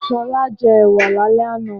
Ṣọlá jẹ ẹ̀wà lálẹ́ àná.